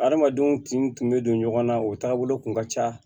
Adamadenw kinw tun bɛ don ɲɔgɔn na o taabolo kun ka ca